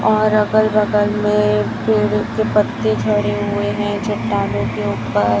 और अगल बगल में पेड़ के पत्ते झड़े हुए हैं चट्टानों के ऊपर--